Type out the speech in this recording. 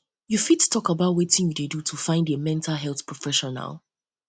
you fit talk about wetin you dey do to find a mental health professional